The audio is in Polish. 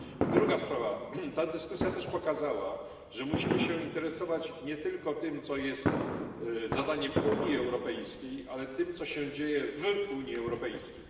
Druga sprawa Ta dyskusja też pokazała, że musimy się interesować nie tylko tym, co jest zadaniem Unii Europejskiej, ale tym, co się dzieje w Unii Europejskiej.